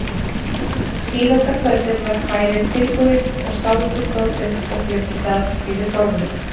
Síðasta kvöldið var kvæðið tilbúið og skáldið stóð upp og flutti það yfir borðum.